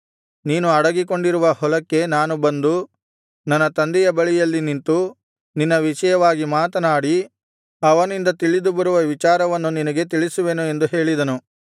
ನೀನು ಅಡಗಿಕೊಂಡಿರುವ ಹೊಲಕ್ಕೆ ನಾನು ಬಂದು ನನ್ನ ತಂದೆಯ ಬಳಿಯಲ್ಲಿ ನಿಂತು ನಿನ್ನ ವಿಷಯವನ್ನು ಮಾತನಾಡಿ ಅವನಿಂದ ತಿಳಿದು ಬರುವ ವಿಚಾರವನ್ನು ನಿನಗೆ ತಿಳಿಸುವೆನು ಎಂದು ಹೇಳಿದನು